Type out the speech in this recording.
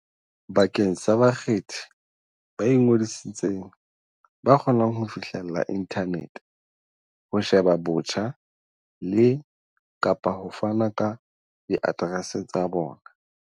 bakeng sa bakgethi ba ingodisitseng ba kgonang ho fihlella inthanete ho sheba botjha le, kapa ho fana ka diaterese tsa bona.